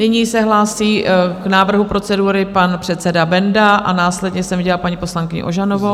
Nyní se hlásí k návrhu procedury pan předseda Benda a následně jsem viděla paní poslankyni Ožanovou.